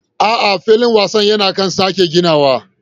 A'a, har yanzu filin wasan yana kan sake ginawa.